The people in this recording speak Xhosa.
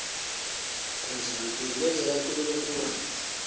kwenzeka ntoni ukuba